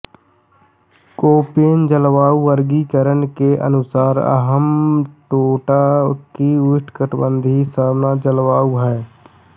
Koppen जलवायु वर्गीकरण के अनुसार हम्बनटोटा की उष्णकटिबंधीय सवाना जलवायु है